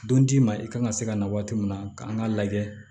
Don d'i ma i kan ka se ka na waati min na kan k'a lajɛ